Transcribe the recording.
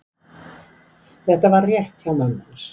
Þetta var rétt hjá mömmu hans.